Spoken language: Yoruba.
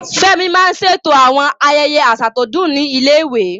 Fẹ́mi máa ń ṣètò àwọn ayẹyẹ àṣà tó dùn ní ilé-ìwé.